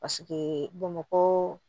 Paseke bamakɔ